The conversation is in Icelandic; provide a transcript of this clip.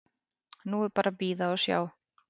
Nú er bara að bíða og sjá.